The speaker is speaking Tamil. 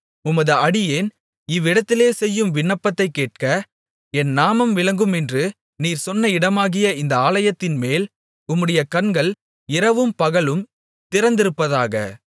உமது அடியேன் இவ்விடத்திலே செய்யும் விண்ணப்பத்தைக் கேட்க என் நாமம் விளங்குமென்று நீர் சொன்ன இடமாகிய இந்த ஆலயத்தின்மேல் உம்முடைய கண்கள் இரவும் பகலும் திறந்திருப்பதாக